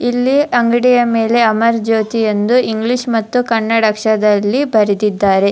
ಇಲ್ಲಿ ಅಂಗಡಿಯ ಮೇಲೆ ಅಮರ್ ಜ್ಯೋತಿ ಎಂದು ಇಂಗ್ಲೀಷ್ ಮತ್ತು ಕನ್ನಡ ಅಕ್ಷರದಲ್ಲಿ ಬರೆದಿದ್ದಾರೆ.